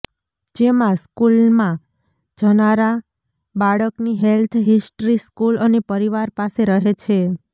જેમાં સ્કુલમાં જનારા બાળકની હેલ્થ હિસ્ટ્રી સ્કુલ અને પરિવાર પાસે રહે છે